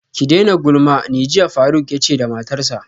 Ki daina gulma ne jiya faruk yace da matarsa